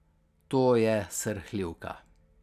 To je srhljivka.